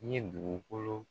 N ye dugukolo